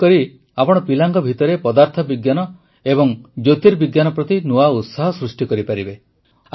ଏପରି କରି ଆପଣ ପିଲାଙ୍କ ଭିତରେ ଫିଜିକ୍ସ ଓ ଏଷ୍ଟ୍ରୋନୋମି ପ୍ରତି ନୂଆ ଉତ୍ସାହ ସୃଷ୍ଟି କରିପାରିବେ